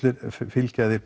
fylgir þeim